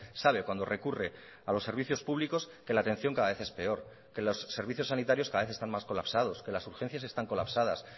sabe cuando recurre a los servicios públicos que la atención cada vez es peor que los servicios sanitarios cada vez están más colapsados que las urgencias están colapsadas